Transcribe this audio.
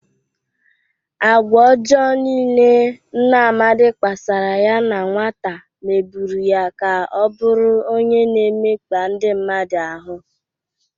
Agwa ọjọọ niile nna Amadị kpasara ya na nwata meburu ya ka ọ bụrụ onye na-emekpa ndị mmadụ ahụ.